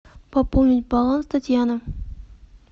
пополнить баланс татьяна